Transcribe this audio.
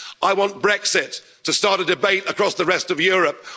I want Brexit to start a debate across the rest of Europe.